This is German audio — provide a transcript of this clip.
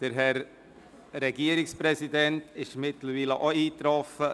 Der Herr Regierungspräsident ist mittlerweile auch eingetroffen.